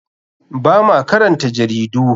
Ba ma karanta jaridu.